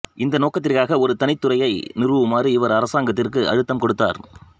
இந்த நோக்கத்திற்காக ஒரு தனித் துறையை நிறுவுமாறு இவர் அரசாங்கத்திற்கு அழுத்தம் கொடுத்தார்